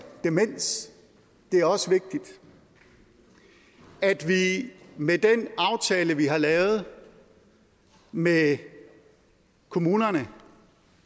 demens det er også vigtigt at vi med den aftale vi har lavet med kommunerne